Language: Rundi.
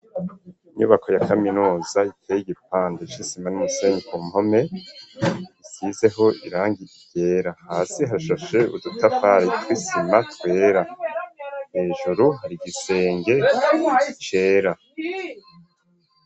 Inyubako ya kaminuza iteye igipande c'isima n'umusenyi ku mpome isizeho irangi ryera hasi hashashe udutafari tw'isima twera hejuru igisenge cera.